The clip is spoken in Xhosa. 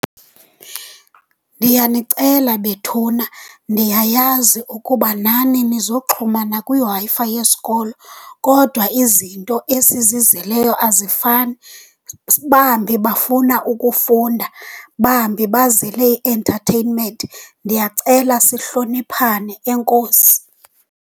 Ndiyanicela bethuna, ndiyayazi ukuba nani nizoxhumana kwiWi-Fi yesikolo, kodwa izinto esizizeleyo azifani. Bambi bafuna ukufunda, bambi bazele i-entertainment. Ndiyacela sihloniphane. Enkosi.